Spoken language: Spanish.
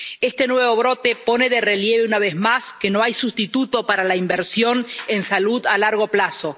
Este nuevo brote pone de relieve, una vez más, que no hay sustituto para la inversión en salud a largo plazo.